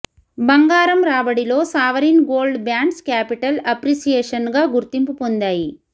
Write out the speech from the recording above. బంగారం రాబడిలో sovereign gold bonds capital అప్రిసియేషన్గా గుర్తింపు పొందాయి